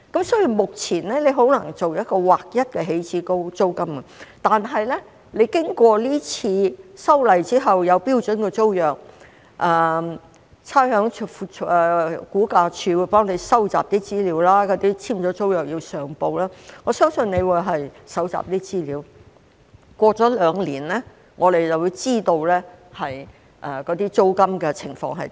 所以，目前很難訂立劃一的起始租金，但經過今次修例之後，有標準租約，差餉物業估價署會幫忙搜集資料，已簽租約的要上報，我相信局長可以搜集一些資料，兩年後，我們便可知道租金的情況。